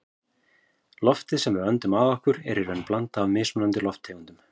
Loftið sem við öndum að okkur er í raun blanda af mismunandi lofttegundum.